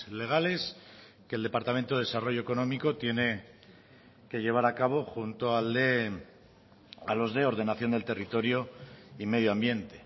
legales que el departamento de desarrollo económico tiene que llevar a cabo junto a los de ordenación del territorio y medio ambiente